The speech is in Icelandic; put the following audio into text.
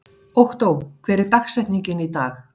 Októ, hver er dagsetningin í dag?